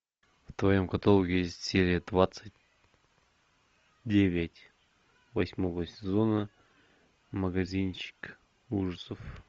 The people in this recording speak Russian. в твоем каталоге есть серия двадцать девять восьмого сезона магазинчик ужасов